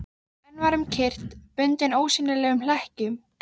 En var um kyrrt, bundinn ósýnilegum hlekkjum.